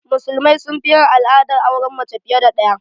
Musulmai sun fi yin al'adar auren mace fiye da ɗaya